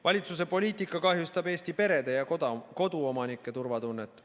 Valitsuse poliitika kahjustab Eesti perede ja koduomanike turvatunnet.